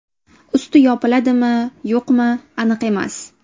Usti yopiladimi-yo‘qmi, aniq emas.